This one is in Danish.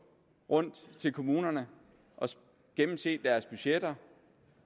rundt til kommunerne og gennemse deres budgetter